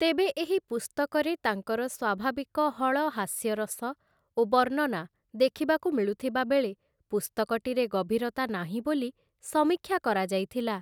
ତେବେ ଏହି ପୁସ୍ତକରେ ତାଙ୍କର ସ୍ୱାଭାବିକ ହଳ ହାସ୍ୟରସ ଓ ବର୍ଣ୍ଣନା ଦେଖିବାକୁ ମିଳୁଥିବାବେଳେ, ପୁସ୍ତକଟିରେ ଗଭୀରତା ନାହିଁ ବୋଲି ସମୀକ୍ଷା କରାଯାଇଥିଲା ।